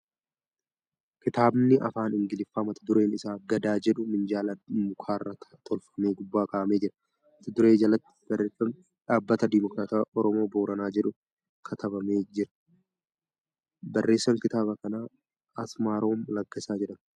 Kitaabni Afaan Ingiliffaa mata dureen isaa ' Gadaa ' jedhu minjaala mukarraa tolfame gubbaa kaa'amee jira. Mata duree jalatti barreeffamni ' Dhaabbata Dimookiraatawaa Oromoo Booranaa jedhu katabamee jira. Barreessan kitaaba kanaa Asmaroom Laggasaa jedhama.